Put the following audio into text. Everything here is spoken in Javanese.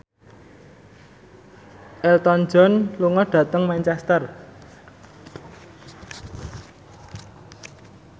Elton John lunga dhateng Manchester